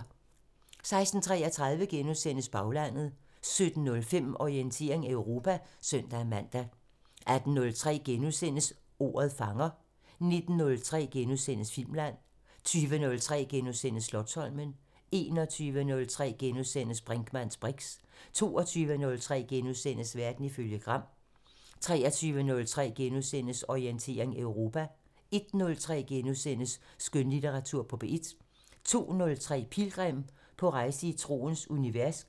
16:33: Baglandet * 17:05: Orientering Europa (søn-man) 18:03: Ordet fanger * 19:03: Filmland * 20:03: Slotsholmen * 21:03: Brinkmanns briks * 22:03: Verden ifølge Gram * 23:03: Orientering Europa * 01:03: Skønlitteratur på P1 * 02:03: Pilgrim – på rejse i troens univers